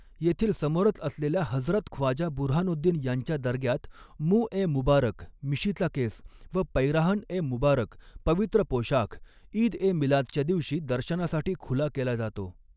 येथील समोरच असलेल्या हजरत ख्वाजा बुऱ्हानोद्दीन यांच्या दर्ग्यात मुॅं ए मुबारक मिशीचा केस व पैराहन ए मुबारक पवित्र पोशाख ईद ए मिलादच्या दिवशी दर्शनासाठी खुला केला जातो.